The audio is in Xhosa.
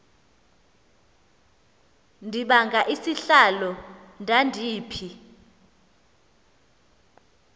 ndibanga isihlalo ndandiphi